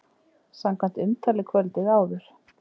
Samkvæmt umtali kvöldið áður!